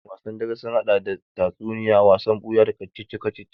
Wasanni dare sun haɗa da tatsuniya, wasan buya, da kacici-kacici